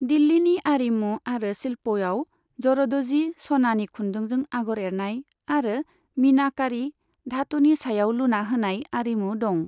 दिल्लिनि आरिमु आरो शिल्पयाव, जरद'जी, सनानि खुन्दुंजों आगर एरनाय आरो मीनाकारी, धातुनि सायाव लुना होनाय आरिमु दं।